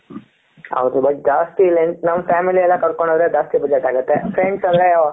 ಹೌದು but ಜಾಸ್ತಿ length ನೋಡು, family ನೆಲ ಕರ್ಕೊಂಡು ಹೋದ್ರೆ ಜಾಸ್ತಿ ಬಜೆಟ್ ಆಗುತ್ತೆ friends ಅಲ್ಲೇ